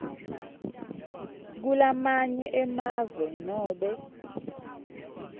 kulamanye emave nobe